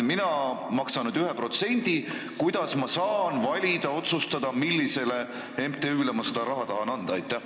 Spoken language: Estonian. Ma maksan 1%, aga kuidas ma saan valida või otsustada, millisele MTÜ-le ma tahan seda raha anda?